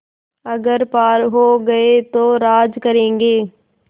अगर पार हो गये तो राज करेंगे